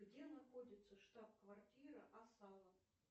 где находится штаб квартира асала